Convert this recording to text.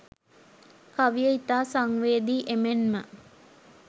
කවිය ඉතා සංවේදී එමෙන්ම